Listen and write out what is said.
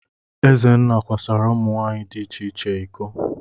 Ezenna kwasara ụmụ nwaanyị di iche iche iko.